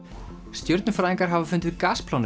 stjörnufræðingar hafa fundið